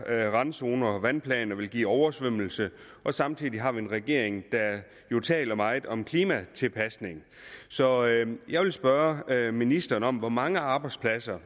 her randzoner og vandplaner vil give oversvømmelser og samtidig har vi en regering der jo taler meget om klimatilpasning så jeg vil spørge ministeren om hvor mange arbejdspladser